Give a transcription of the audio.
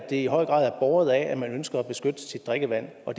i høj grad er båret af at man ønsker at beskytte sit drikkevand og